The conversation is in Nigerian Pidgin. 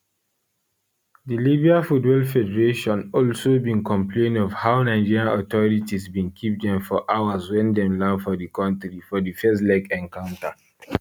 dilibya football federation also bin complainof how nigeria authorities bin keep dem for hours wen dem land for di kontri for di first leg encounter